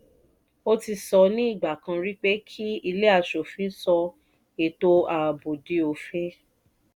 o ti sọ ní ìgbà kan rí pé kí ilé aṣòfin sọ ètò ààbò di òfin.